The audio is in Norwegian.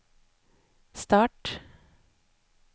start